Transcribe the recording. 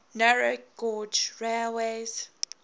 narrow gauge railways